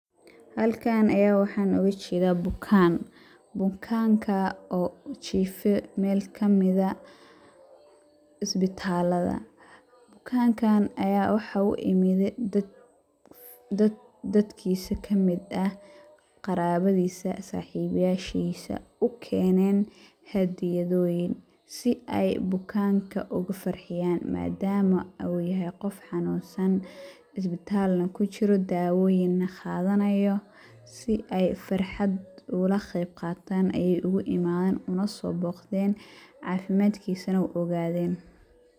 Halkaan ayaan waxaan ooga jedaa bukaan ,bukaankaa oo jiife meel kamid ah isbitallada. Bukankaan ayaa waxaa u imide dad dadkiisi kamid ah ,qarawadiisa, saxibyashiisa,u keneen haddiyadoyin si ay bukaanka uga farxiyaan madaama uu yahay qof xanuunsan ,isbitaal na ku jiro daawoyin na qadanayo si ay farxad ugula qeyb qataan ayey ugu imadeen uguna soo boqdeen ,cafimadkiisana u ogadeen .